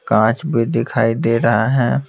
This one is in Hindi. कांच भी दिखाई दे रहा है।